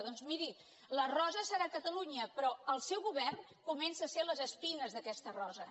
doncs miri la rosa deu ser catalunya però el seu govern comença a ser les espines d’aquesta rosa